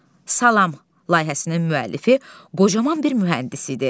"Salam" layihəsinin müəllifi qocaman bir mühəndis idi.